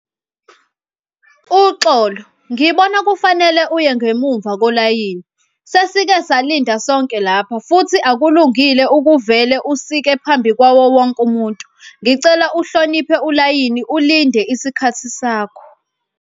Uxolo, ngibona kufanele uye ngemuva kolayini. Sesike salinda sonke lapha futhi akulungile ukuvele usike phambi kwawo wonke umuntu. Ngicela uhloniphe ulayini ulinde isikhathi sakho.